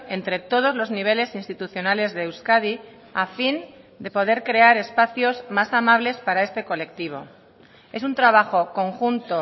entre todos los niveles institucionales de euskadi a fin de poder crear espacios más amables para este colectivo es un trabajo conjunto